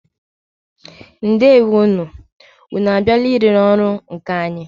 Ndewo nụ! Ụnụ a bịala ị lere ọrụ nkà anyị?